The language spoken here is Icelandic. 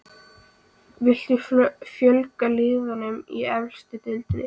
Viltu fjölga liðum í efstu deild?